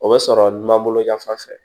O bɛ sɔrɔ n man bolo ɲɛf'a fɛ